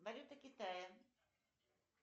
валюта китая